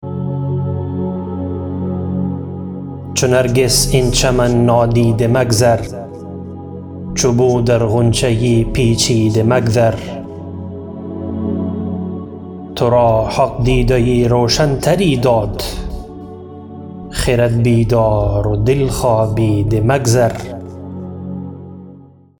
چو نرگس این چمن نادیده مگذر چو بو در غنچه پیچیده مگذر ترا حق دیده روشنتری داد خرد بیدار و دل خوابیده مگذر